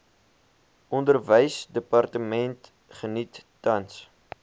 onderwysdepartement geniet tans